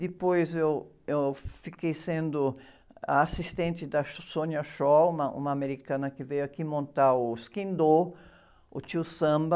Depois eu, eu fiquei sendo a assistente da, uma americana que veio aqui montar o, o Tio Samba.